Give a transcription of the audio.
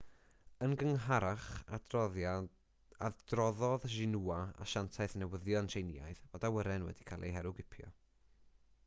yn gynharach adroddodd xinhua asiantaeth newyddion tsieineaidd fod awyren wedi cael ei herwgipio